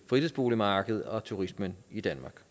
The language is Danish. fritidsboligmarkedet og turismen i danmark